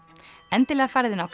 endilega farið inn á